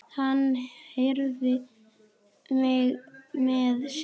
Hann hreif mig með sér.